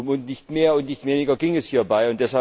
Um nicht mehr und nicht weniger ging es hierbei.